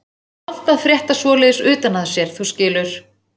Það er vont að frétta svoleiðis utan að sér, þú skilur.